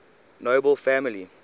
nobel family